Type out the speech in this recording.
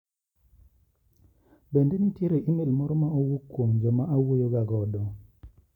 Bende nitiere imel moro ma owuok kuom joma awuoyo ga godo?